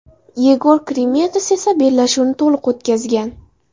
Yegor Krimets esa bellashuvni to‘liq o‘tkazgan.